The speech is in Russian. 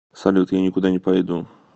салют я никуда не пойду